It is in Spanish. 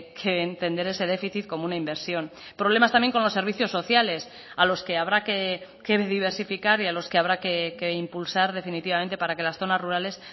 que entender ese déficit como una inversión problemas también con los servicios sociales a los que habrá que diversificar y a los que habrá que impulsar definitivamente para que las zonas rurales